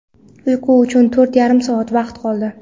Uyqu uchun to‘rt yarim soat vaqt qoldi.